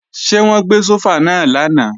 Ṣé wọ́n gbé sófà náà lánàá?